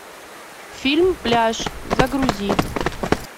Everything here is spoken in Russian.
фильм пляж загрузи